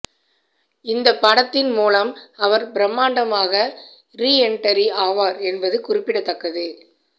இந்த படத்தின் மூலம் அவர் பிரமாண்டமாக ரீஎண்ட்ரி ஆவார் என்பது குறிப்பிடத்தக்கது